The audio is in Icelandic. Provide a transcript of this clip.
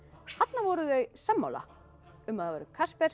þarna voru þau sammála um að það væri